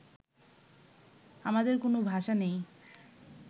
আমাদের কোনো ভাষা নেই